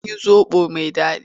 Mun yi zoɓo mai daɗi.